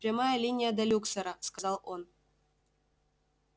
прямая линия до люксора сказал он